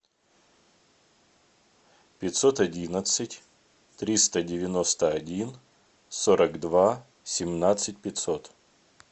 пятьсот одиннадцать триста девяносто один сорок два семнадцать пятьсот